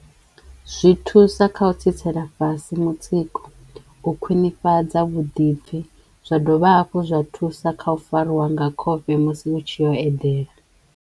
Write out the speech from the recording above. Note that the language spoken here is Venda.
Zwi thusa kha u tsitsela fhasi mutsiko, u khwinifhadza vhuḓipfi zwa dovha hafhu zwa thusa kha u farwa nga khofhe musi ni tshiyo u edela.